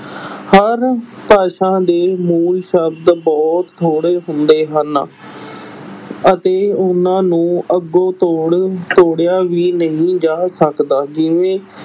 ਹਰ ਭਾਸ਼ਾ ਦੇ ਮੂਲ ਸ਼ਬਦ ਬਹੁਤ ਥੋੜ੍ਹੇ ਹੁੰਦੇ ਹਨ ਅਤੇ ਉਹਨਾਂ ਨੂੰ ਅੱਗੋਂ ਤੋੜ ਤੋੜਿਆ ਵੀ ਨਹੀਂ ਜਾ ਸਕਦਾ, ਜਿਵੇਂ